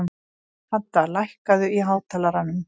Hadda, lækkaðu í hátalaranum.